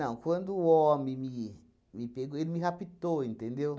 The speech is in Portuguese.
quando o homem me me pegou, ele me raptou, entendeu?